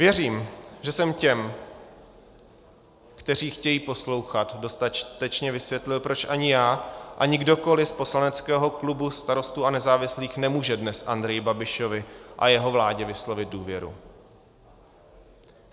Věřím, že jsem těm, kteří chtějí poslouchat, dostatečně vysvětlil, proč ani já, ani kdokoli z poslaneckého klubu Starostů a nezávislých nemůže dnes Andreji Babišovi a jeho vládě vyslovit důvěru.